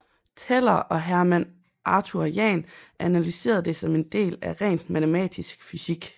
Teller og Hermann Arthur Jahn analyserede det som en del af rent matematisk fysik